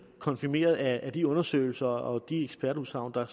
konfirmeret af de undersøgelser og de ekspertudsagn der